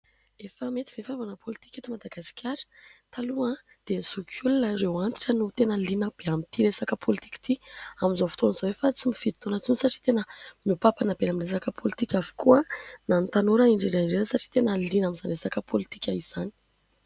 Efa mety ve fanaovana pôlitika eto Madagasikara ? Taloha dia ny zokiolona ireo antitra no tena liana be amin'ity resaka pôlitika ity. Amin'izao fotoan'izao efa tsy mifidy taona intsony satria tena miompampana be amin'ny resaka pôlitika avokoa na ny tanora indrindra indrindra satria tena liana amin'izany resaka pôlitika izany.